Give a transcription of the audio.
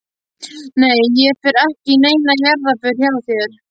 Nei ég fer ekki í neina jarðarför hjá þér.